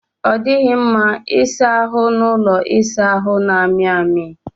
Ọ dịghị mma ịsa ahụ n'ụlọ ịsa ahụ na-amị amị